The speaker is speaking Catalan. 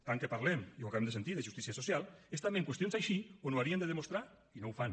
tant que parlem i ho acabem de sentir de justícia social és també en qüestions així on ho haurien de demostrar i no ho fan